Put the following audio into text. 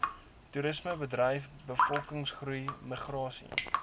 toerismebedryf bevolkingsgroei migrasie